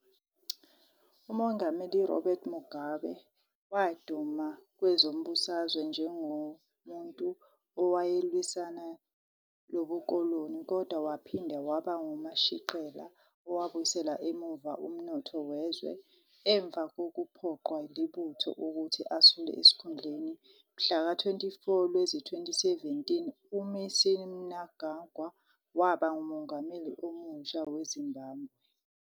UMongameli Robert Mugabe waduma kwezombusazwe njengomuntu owayelwisana lobukoloni kodwa waphinda waba ngumashiqela owabuyisela emuva umnotho wezwe. Ngemva kokuphoqwa libutho ukuthi asule esikhundleni, mhlaka 24 Lwezi 2017 u-Emmerson Mnangagwa waba ngumongameli omutsha weZimbabwe.